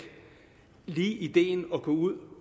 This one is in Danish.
lige ideen at gå ud